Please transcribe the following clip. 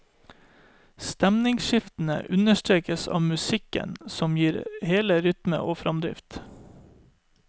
Stemningsskiftene understrekes av musikken som gir det hele rytme og framdrift.